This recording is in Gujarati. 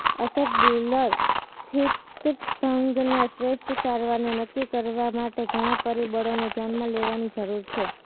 અસેટબ્યુલર અસ્થિભંગના શ્રેષ્ઠ સારવારને નક્કી કરવા માટે ઘણા પરિબળોને ધ્યાનમાં લેવાની જરૂર છે